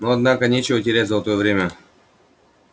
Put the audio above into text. ну однако нечего терять золотое время